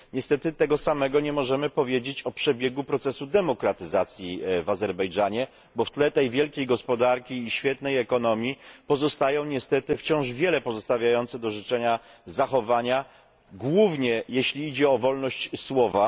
Niestety tego samego nie możemy powiedzieć o przebiegu procesu demokratyzacji w Azerbejdżanie, bo w tle tej wielkiej gospodarki i świetnej ekonomii pozostają niestety wciąż pozostawiające wiele do życzenia, zachowania głównie, jeśli chodzi o wolność słowa.